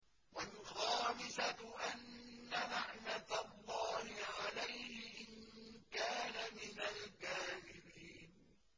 وَالْخَامِسَةُ أَنَّ لَعْنَتَ اللَّهِ عَلَيْهِ إِن كَانَ مِنَ الْكَاذِبِينَ